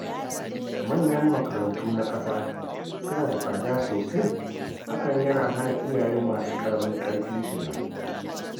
Manyan makarantu na ƙasa suna da tsada sosai, hakan yana hana iyaye masu ƙaramin ƙarfi shiga.